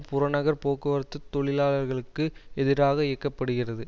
புறநகர் போக்குவரத்து தொழிலாளர்களுக்கு எதிராக இயக்க படுகிறது